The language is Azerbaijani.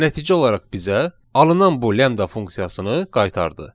Və nəticə olaraq bizə alınan bu lambda funksiyasını qaytardı.